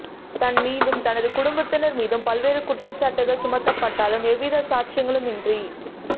தன்மீதும் தனது குடும்பத்தினர் மீதும் பல்வேறு குற்றச்சாட்டுக்கள் சுமத்தப்பட்டாலும் எதுவித சாட்சியங்களுமின்றி